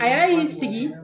A yɛrɛ y'i sigi